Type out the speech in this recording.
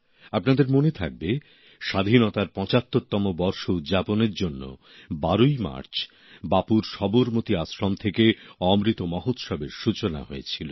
আপনাদের মনে থাকবে স্বাধীনতার পঁচাত্তরতম বর্ষ উদযাপনের জন্য ১২ই মার্চ বাপুর সবরমতী আশ্রম থেকে অমৃত মহোৎসবের সূচনা হয়েছিল